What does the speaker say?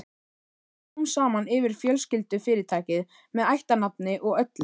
Hann tók smám saman yfir fjölskyldufyrirtækið með ættarnafni og öllu.